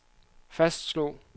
fastslog